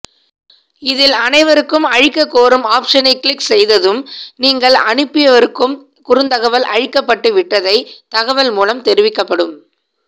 இதில் அனைவருக்கும் அழிக்கக் கோரும் ஆப்ஷனை கிளிக் செய்ததும் நீங்கள் அனுப்பியவருக்கும் குறுந்தகவல் அழிக்கப்பட்டு விட்டதை தகவல் மூலம் தெரிவிக்கப்படும்